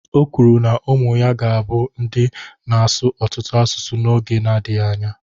O kwuru na ụmụ ya ga-abụ ndị na-asụ ọtụtụ asụsụ n'oge na-adịghị anya